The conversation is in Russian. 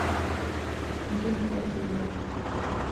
ирины владимировны